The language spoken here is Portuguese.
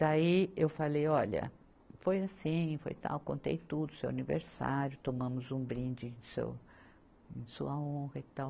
Daí eu falei, olha, foi assim, foi tal, contei tudo, seu aniversário, tomamos um brinde seu, em sua honra e tal.